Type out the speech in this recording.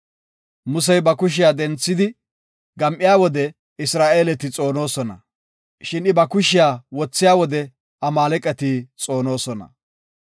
Musey ba kushiya denthidi gam7iya wode Isra7eeleti xoonosona, shin I ba kushiya wothiya wode Amaaleqati xoonosona.